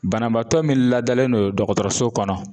Banabaatɔ min ladalen do dɔgɔtɔrɔso kɔnɔ